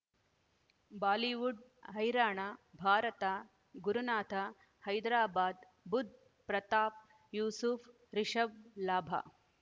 Bollywood ಹೈರಾಣ ಭಾರತ ಗುರುನಾಥ ಹೈದರಾಬಾದ್ ಬುಧ್ ಪ್ರತಾಪ್ ಯೂಸುಫ್ ರಿಷಬ್ ಲಾಭ